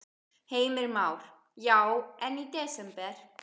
Heimir Már: Já, en í desember?